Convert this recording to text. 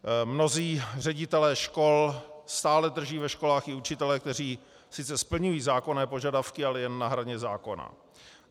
Mnozí ředitelé škol stále drží ve školách i učitele, kteří sice splňují zákonné požadavky, ale jen na hraně zákona.